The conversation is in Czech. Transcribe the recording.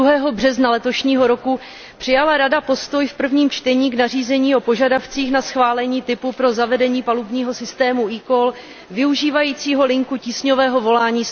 2. března letošního roku přijala Rada v prvním čtení postoj k nařízení o požadavcích na schválení typu pro zavedení palubního systému eCall využívajícího linku tísňového volání